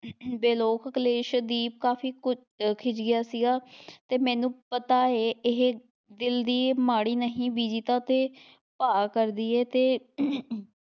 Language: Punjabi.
ਵੇ ਲੋਕ ਕਲੇਸ਼ ਦੀਪ ਕਾਫ਼ੀ ਕੁ ਖਿਝਿਆ ਸੀਗਾ ਤੇ ਮੈਨੂੰ ਪਤਾ ਹੈ ਇਹ ਦਿਲ ਦੀ ਮਾੜੀ ਨਹੀਂ ਬੀਜੀ ਦਾ ਤੇ ਭਾਅ ਕਰਦੀ ਹੈ ਤੇ